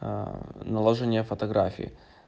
наложение фотографии